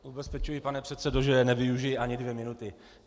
Ubezpečuji, pane předsedo, že nevyužiji ani dvě minuty.